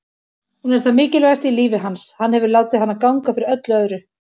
Hún er það mikilvægasta í lífi hans, hann hefur látið hana ganga fyrir öllu öðru.